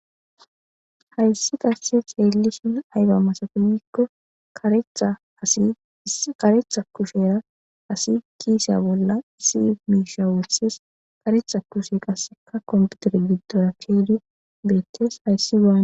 Hayissi qasika xelishin ayiba misati giko karetha asi issi karetha kushen asi kisiya bolla issi misha wotides karetha kushe qasika kompitere gidora kiyidi betees